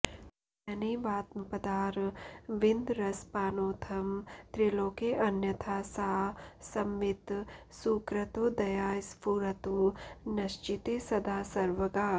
तेनैवात्मपदारविन्दरसपानोथं त्रिलोकेऽन्यथा सा संवित् सुकृतोदया स्फुरतु नश्चित्ते सदा सर्वगा